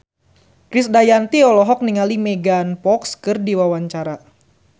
Krisdayanti olohok ningali Megan Fox keur diwawancara